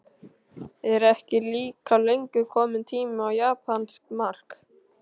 Er ekki líka löngu kominn tími á japanskt mark?